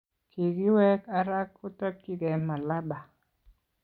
Kikiwek Ara kotokchikei malaba